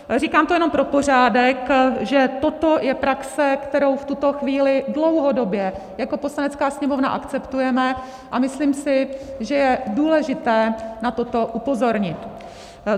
Říkám to jenom pro pořádek, že toto je praxe, kterou v tuto chvíli dlouhodobě jako Poslanecká sněmovna akceptujeme, a myslím si, že je důležité na toto upozornit.